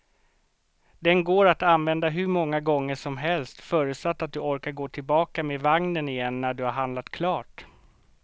Den går att använda hur många gånger som helst, förutsatt att du orkar gå tillbaka med vagnen igen när du har handlat klart.